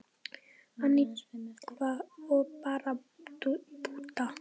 Antígva og Barbúda